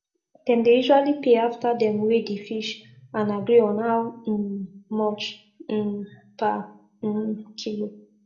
dem dey usually pay after dem weigh di fish and agree on how um much um per um kilo